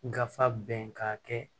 Gafe bɛn ka kɛ